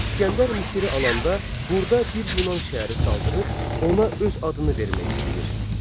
İsgəndər Misiri alanda burda bir Yunan şəhəri salıb ona öz adını vermək istəyir.